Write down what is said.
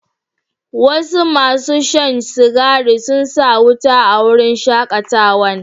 Wasu masun Shan cigari sun sa wuta a wurin shakatawan.